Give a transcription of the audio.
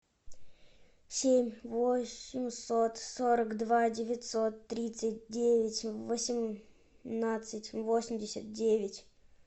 семь восемьсот сорок два девятьсот тридцать девять восемнадцать восемьдесят девять